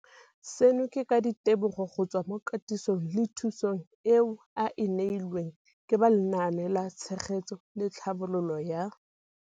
Seno ke ka ditebogo go tswa mo katisong le thu song eo a e neilweng ke ba Lenaane la Tshegetso le Tlhabololo ya.